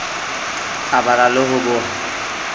a bala le ho boha